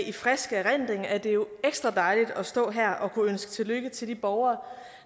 i frisk erindring er det jo ekstra dejligt at stå her og kunne ønske tillykke til de borgere